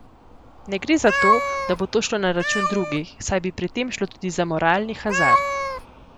Ne gre za to, da bo to šlo na račun drugih, saj bi pri tem šlo tudi za moralni hazard.